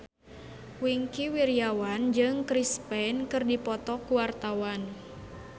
Wingky Wiryawan jeung Chris Pane keur dipoto ku wartawan